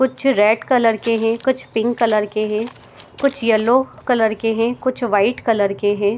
कुछ red colour के है कुछ पिंक कलर है कुछ येलो कलर के है कुछ वाइट कलर के है।